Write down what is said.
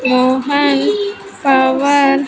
Mohan power.